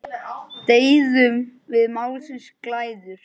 Deyðum við málsins glæður?